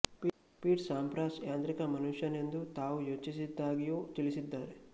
feet Sampras ಯಾಂತ್ರಿಕ ಮನುಷ್ಯ ನೆಂದು ತಾವು ಯೋಚಿಸಿದ್ದಾಗಿಯೂ ತಿಳಿಸಿದ್ದಾರೆ